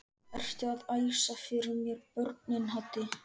Ertu að æsa fyrir mér börnin Haddi!